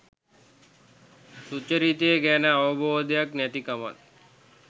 සුචරිතය ගැන අවබෝධයක් නැතිකමත්.